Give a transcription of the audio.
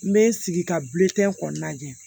N bɛ n sigi ka bilen kɔni lajɛ